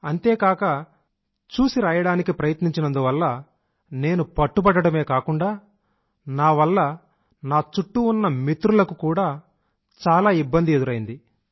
అంతేకాక చూసిరాయడానికి ప్రయత్నించినందువల్ల నేను పట్టుబడడమే కాకుండా నావల్ల నా చుట్టూ ఉన్న మిత్రులకు కూడా చాలా ఇబ్బంది ఎదురైంది